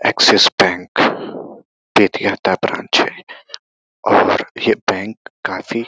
axis Bank बेतिहता branch है और ये बैंक काफी --